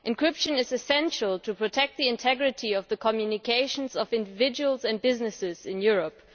Encryption is essential to protect the integrity of the communications of individuals and businesses in Europe.